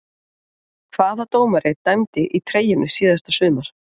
Hvaða dómari dæmdi í treyjunni síðasta sumar?